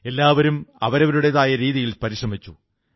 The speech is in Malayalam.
എല്ലാവരും അവരവരുടേതായ രീതിയിൽ പരിശ്രമിച്ചു